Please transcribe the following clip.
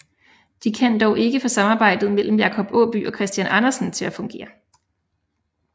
De kan dog ikke få samarbejdet imellem Jacob Aaby og Christian Andersen til at fungere